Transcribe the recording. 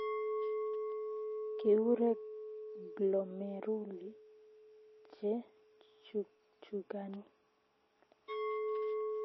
Kikure glomeruli che chukchukani